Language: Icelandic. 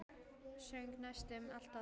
Söng næstum alltaf það lag.